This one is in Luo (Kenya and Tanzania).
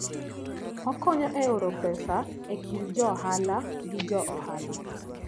Okonyo e oro pesa e kind jo ohala gi jo ohala.